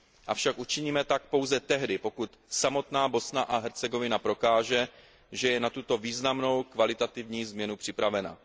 Avšak učiníme tak pouze tehdy, pokud samotná Bosna a Hercegovina prokáže, že je na tuto významnou kvalitativní změnu připravena.